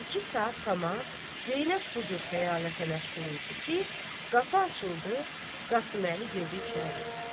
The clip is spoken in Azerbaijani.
İki saat tamam Zeynəb bu cür xəyalətə məşğul idi ki, qapı açıldı, Qasıməli girdi içəri.